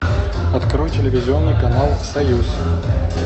открой телевизионный канал союз